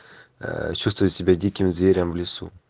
ээ чувствую себя диким зверем в лесу